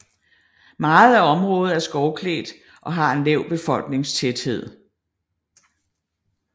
Meget af området er skovklædt og har en lav befolkningstæthed